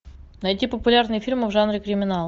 найти популярные фильмы в жанре криминал